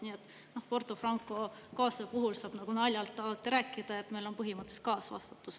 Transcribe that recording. Nii et Porto Franco kaasuse puhul saab nagu naljalt alati rääkida, et meil on põhimõtteliselt kaasvastutus.